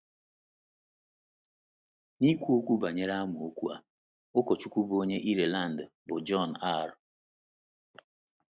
N’ikwu okwu banyere amaokwu a, ụkọchukwu bụ́ onye Ireland, bụ́ John R.